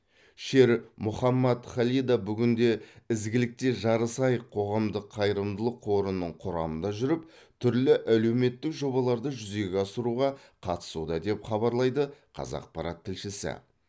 шер мухаммад халида бүгінде ізгілікте жарысайық қоғамдық қайырымдылық қорының құрамында жүріп түрлі әлеуметтік жобаларды жүзеге асыруға қатысуда деп хабарлайды қазақпарат тілшісі